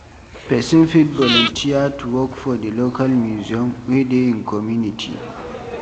Person fit volunteer to work for di local museum wey dey im community